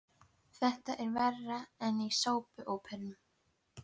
Þetta er verra en í sápuóperum.